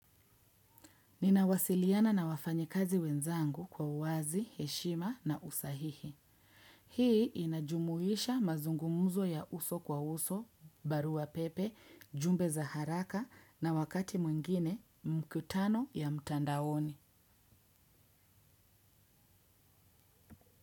Ninawasiliana na wafanya kazi wenzangu kwa uwazi, heshima na usahihi. Hii inajumuisha mazungumzo ya uso kwa uso, barua pepe, jumbe za haraka na wakati mwingine mkutano ya mtandaoni.